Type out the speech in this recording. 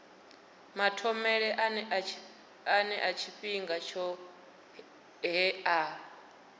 mathomele ane tshifhinga tshohe a